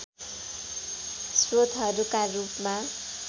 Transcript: स्रोतहरूका रूपमा